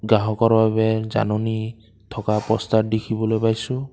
গ্ৰাহকৰ বাবে জাননী থকা প'ষ্টাৰ দেখিবলৈ পাইছোঁ।